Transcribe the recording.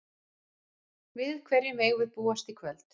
Við hverju megum við búast í kvöld?